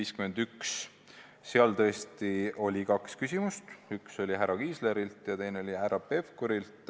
Selle kohta tõesti oli kaks küsimust, üks oli härra Kiislerilt ja teine oli härra Pevkurilt.